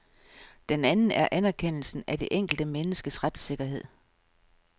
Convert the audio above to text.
Den anden er anerkendelsen af det enkelte menneskes retssikkerhed.